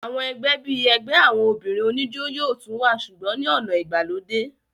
àwọn ẹgbẹ́ bíi ẹgbẹ́ àwọn obìnrin oníjó yóò tún wà sùgbọ́n ní ọ̀nà ìgbàlódé